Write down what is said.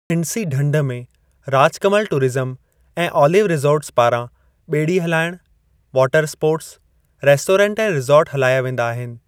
खिंडसी ढंढ में राजकमल टूरिज़्म ऐं ऑलिव रिसॉर्ट्स पारां ॿेड़ी हलाइणु, वॉटरस्पोर्ट्स, रेस्टोरेंट ऐं रिसॉर्ट हलाया वेंदा आहिनि।